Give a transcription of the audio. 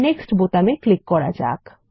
next বোতামে click করা যাক